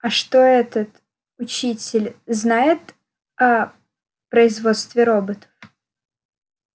а что этот учитель знает о производстве роботов